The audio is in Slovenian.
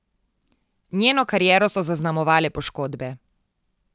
Njeno kariero so zaznamovale poškodbe.